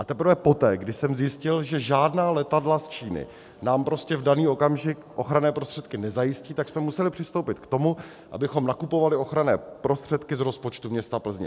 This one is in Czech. A teprve poté, když jsem zjistil, že žádná letadla z Číny nám prostě v daný okamžik ochranné prostředky nezajistí, tak jsme museli přistoupit k tomu, abychom nakupovali ochranné prostředky z rozpočtu města Plzně.